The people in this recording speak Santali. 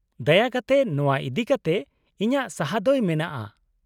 -ᱫᱟᱭᱟ ᱠᱟᱛᱮ ᱱᱚᱶᱟ ᱤᱫᱤᱠᱟᱛᱮ ᱤᱧᱟᱹᱜ ᱥᱟᱹᱦᱟᱹ ᱫᱚᱭ ᱢᱮᱜᱼᱟ ᱾